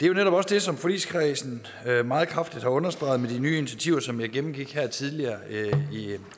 jo netop også det som forligskredsen meget kraftigt har understreget med de nye initiativer som jeg gennemgik her tidligere